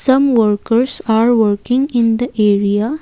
some workers are working in the area.